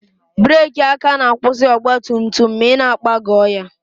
Breeki aka na-akwụsị ọgba tum tum ma ị na-ịkpagọọ ya